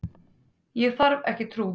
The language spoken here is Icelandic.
Ég þarf ekki trú.